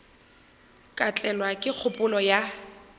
ka tlelwa ke kgopolo ya